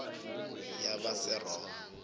yabaseroma